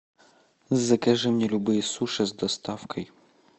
закажи мне любые суши с доставкой